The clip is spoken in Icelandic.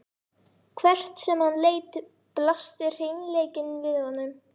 Hvert sem hann leit blasti hreinleikinn við honum.